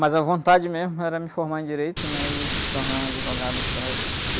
Mas a vontade mesmo era me formar em Direito, né? E se tornar um advogado para...